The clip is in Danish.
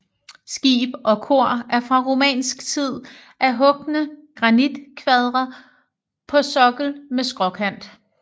Skib og kor er fra romansk tid af hugne granitkvadre på sokkel med skråkant